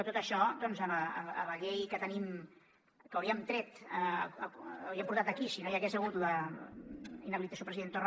tot això doncs la llei que tenim que hauríem portat aquí si no hi hagués hagut la inhabilitació del president torra